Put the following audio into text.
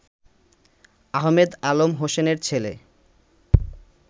আহমেদ আলম হোসেনের ছেলে